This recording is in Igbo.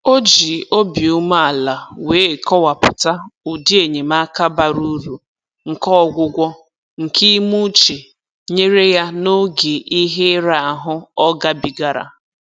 O ji obi umeala wee kọwapụta ụdị enyemaka bara uru nke ọgwụgwọ nke ime uche nyere ya n'oge ihe ira ahụ ọ gabigara